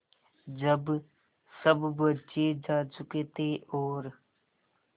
जब सब बच्चे जा चुके थे और